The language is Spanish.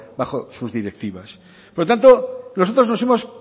bajo sus directivas por tanto nosotros nos hemos